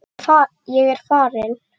Ég er farinn!